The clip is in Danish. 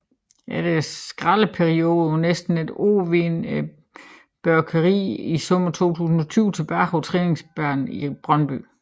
Efter en skadesperiode på næsten et år vendte Børkeeiet i sommeren 2020 tilbage på træningsbanen i Brøndby